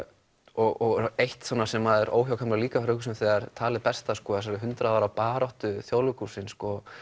og eitt sem er óhjákvæmilegt líka að hugsa um þegar talið berst að hundrað ára baráttu Þjóðleikhússins